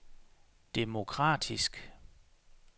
demokratisk